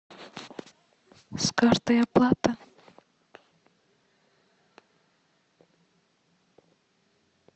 с карты оплата